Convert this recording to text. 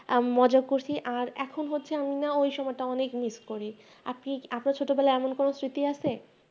আমি মজা করছি আর এখন হচ্ছে আমি না ওই সময়টা মিস করি আপনি আপনার ছোটবেলার এমন কোন স্মৃতি আছে